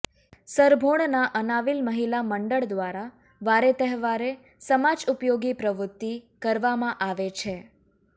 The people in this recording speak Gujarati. સરભોણના અનાવિલ મહિલા મંડળ દ્વારા વારે તહેવારે સમાજ ઉપયોગી પ્રવૃત્તિ કરવામાં આવે છે